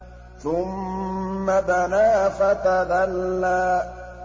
ثُمَّ دَنَا فَتَدَلَّىٰ